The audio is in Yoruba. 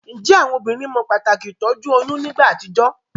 Njé àwon obínrin mo pàtàkì ìtójú oyún nígbà àtijó?